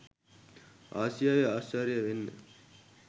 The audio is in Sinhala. ආසියාවෙ අශ්චර්ය වෙන්න